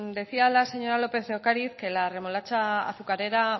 decía la señora lópez de ocariz que la remolacha azucarera